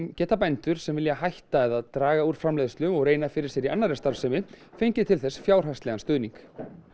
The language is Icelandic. geta bændur sem vilja hætta eða draga úr framleiðslu og reyna fyrir sér í annarri starfsemi fengið til þess fjárhagslegan stuðning